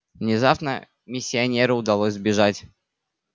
внезапно миссионеру удалось сбежать